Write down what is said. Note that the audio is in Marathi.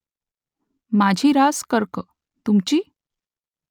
माझी रास कर्क . तुमची ?